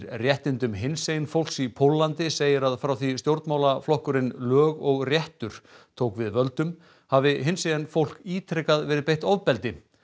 réttindum hinsegin fólks í Póllandi segir að frá því stjórnmálaflokkurinn lög og réttur tók við völdum hafi hinsegin fólk ítrekað verið beitt ofbeldi